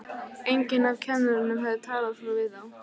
Enginn af kennurunum hafði talað svona við þá.